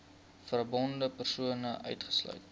verbonde persone uitgesluit